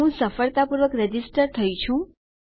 હું સફળતાપૂર્વક રજીસ્ટર થયી છું